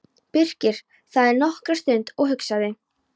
Birkir þagði nokkra stund og hugsaði.